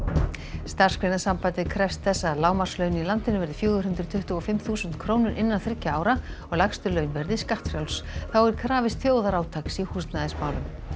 Starfsgreinasambandið krefst þess að lágmarkslaun í landinu verði fjögur hundruð tuttugu og fimm þúsund krónur innan þriggja ára og lægstu laun verði skattfrjáls þá er krafist þjóðarátaks í húsnæðismálum